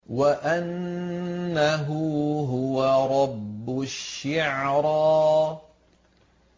وَأَنَّهُ هُوَ رَبُّ الشِّعْرَىٰ